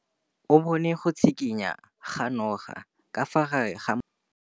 O bone go tshikinya ga noga ka fa gare ga majang.